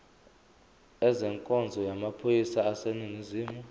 ezenkonzo yamaphoyisa aseningizimu